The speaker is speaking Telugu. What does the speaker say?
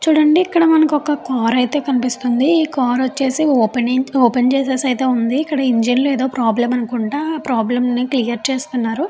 చూడండి ఇక్కడ మనకు ఒక కార్ అయితే కనిపిస్తుంది. ఈ కార్ వచ్చేసి ఓపెనింగ్ ఓపెన్ చేసేసి అయితే ఉంది. ఇక్కడ ఇంజన్ లో ప్రాబ్లం అనుకుంటా ప్రాబ్లంనే క్లియర్ చేస్తున్నారు.